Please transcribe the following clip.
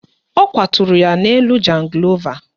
Ọ kwaturu ya n'elu jangịlova